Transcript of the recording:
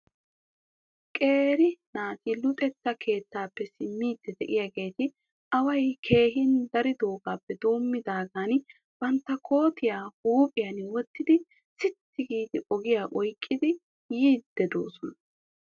Qeeri naati luxetta keettappe simmidi de'iyaageeti away keehin daridoogappe doomidaagan bantta koottiya huuphiyan wottidi sitti gi ogiyaa oyqqidi yiide de'oosona.